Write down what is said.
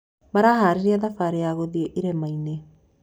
Maraharĩria thabarĩ ya gũthĩi irĩmainĩ?